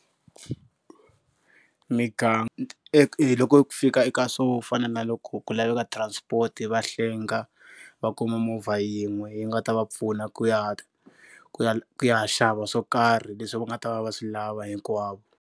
Mi ka Loko ku fika eka swo fana na loko ku laveka transport va hlenga, va kuma movha yin'we yi nga ta va pfuna ku ya ku ya ku ya xava swo karhi leswi va nga ta va va swi lava hinkwavo.